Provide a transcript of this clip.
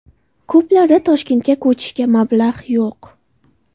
Ko‘plarda Toshkentga ko‘chishga mablag‘ yo‘q.